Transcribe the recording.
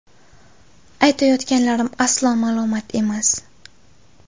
Aytayotganlarim aslo malomat emas.